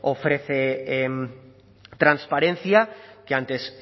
ofrece transparencia que antes